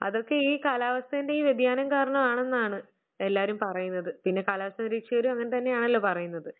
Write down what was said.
അതൊക്കെ ഈ കാലാവസ്ഥന്റെ ഈ വ്യതിയാനം കാരണം ആണെന്നാണ് എല്ലാവരും പറയുന്നത് എന്നാണ് എല്ലാവരും പറയുന്നത് പിന്നെ കാലാവസ്ഥ നിരീക്ഷകരും അങ്ങനെതന്നെ ആണല്ലോ പറയുന്നത്.